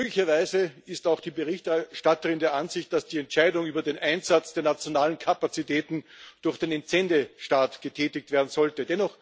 Glücklicherweise ist auch die Berichterstatterin der Ansicht, dass die Entscheidung über den Einsatz der nationalen Kapazitäten durch den Entsendestaat getätigt werden sollte.